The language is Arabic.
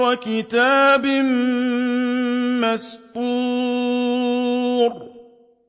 وَكِتَابٍ مَّسْطُورٍ